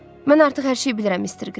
Mən artıq hər şeyi bilirəm, Mister Qrey.